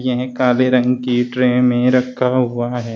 यह काले रंग की ट्रे में रखा हुआ है।